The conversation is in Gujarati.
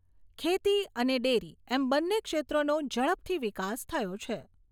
ખેતી અને ડેરી એમ બન્ને ક્ષેત્રોનો ઝડપથી વિકાસ થયો છે.